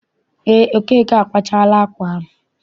Eé, Okeke akwachaala ákwà ahụ.